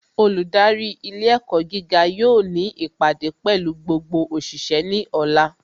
Olùdarí ilé ẹ̀kọ́ gíga yóò ní ìpàdé pẹ̀lú gbogbo òṣìṣẹ́ ní ọ̀la